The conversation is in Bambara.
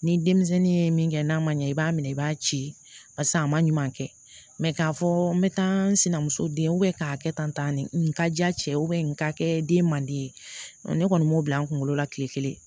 Ni denmisɛnnin ye min kɛ n'a ma ɲɛ i b'a minɛ i b'a ci paseke a ma ɲuman kɛ k'a fɔ n bɛ taa n sinamuso den k'a kɛ tan nin ka di a cɛ nin ka kɛ den man di ye ne kɔni m'o bila n kunkolo la kile kelen